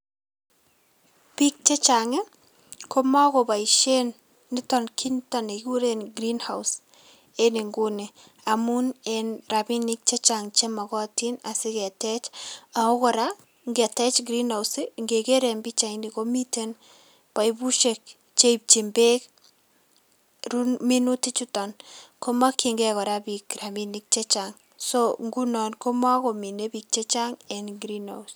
Biik chechang' ii komokoboisien niton kit niton kiy nikikuren green house en nguni amun en rabinik chechang' chemokotin asiketech ako kora ngetech green house ingeker en pichaini komiten pipusiek cheipchin beek ru minutichuton komokyingei biik rabinik chechang' so ngunon komokomine biik chechang' en green house.